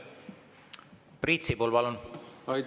Priit Sibul, palun!